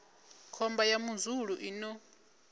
khomba ya muzulu i no